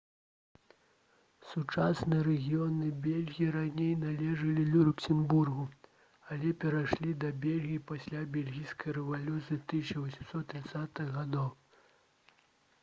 сучасныя рэгіёны бельгіі раней належалі люксембургу але перайшлі да бельгіі пасля бельгійскай рэвалюцыі 1830-х гг